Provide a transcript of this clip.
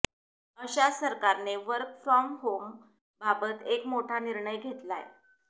अशाच सरकारने work from home बाबत एक मोठा निर्णय घेतलाय